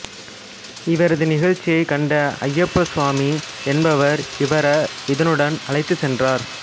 இவரது நிகழ்ச்சியை கண்ட அப்பையா சுவாமி என்பவர் இவர இதன்னுடன் அழைத்துச் சென்றார்